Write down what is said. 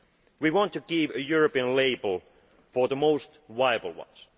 We want to give a European label for the most viable ones.